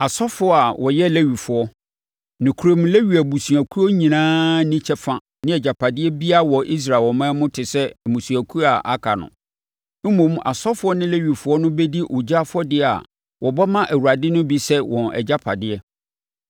Asɔfoɔ a wɔyɛ Lewifoɔ, nokorɛm Lewi abusuakuo nyinaa nni kyɛfa ne agyapadeɛ biara wɔ Israel ɔman mu te sɛ mmusuakuo a aka no. Mmom, asɔfoɔ no ne Lewifoɔ no bɛdi ogya afɔdeɛ a wɔbɔ ma Awurade no bi sɛ wɔn agyapadeɛ.